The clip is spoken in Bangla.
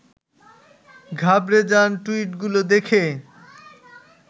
ঘাবড়ে যান টুইটগুলি দেখে